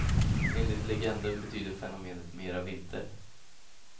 Enligt legenden betyder fenomenet mera vinter.